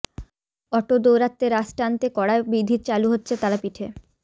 auto দৌরাত্ম্যে রাশ টানতে কড়া বিধি চালু হচ্ছে তারাপীঠে